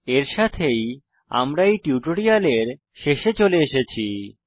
এর সাথেই আমরা এই টিউটোরিয়ালের শেষে চলে এসেছি